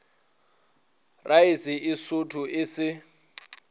raese e sootho e se